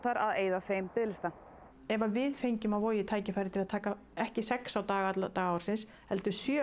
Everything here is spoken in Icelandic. að eyða þeim biðlista ef við fengjum á Vogi tækifæri að taka ekki sex á dag alla daga ársins heldur sjö